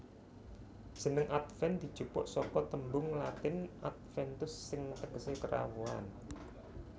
Jeneng Adven dijupuk saka tembung Latin Adventus sing tegesé Kerawuhan